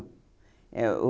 Era o...